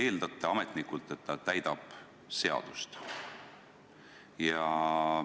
Te eeldate ametnikult, et ta täidab seadust.